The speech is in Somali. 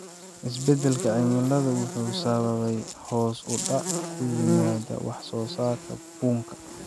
Isbeddelka cimiladu wuxuu sababay hoos u dhac ku yimaada wax soo saarka bunka.